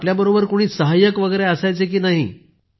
आपल्या बरोबर कुणी सहाय्यक असायचे की नाही